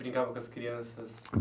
Brincava com as crianças?